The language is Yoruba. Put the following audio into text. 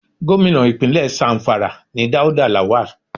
Gómìnà Ìpínlẹ̀ Zamfara ni Dauda Lawal.